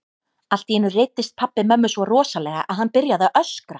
Allt í einu reiddist pabbi mömmu svo rosalega að hann byrjaði að öskra.